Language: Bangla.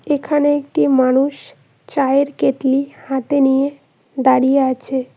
এখানে একটি মানুষ চায়ের কেটলি হাতে নিয়ে দাঁড়িয়ে আছে।